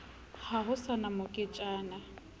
ha ho sa na moketjana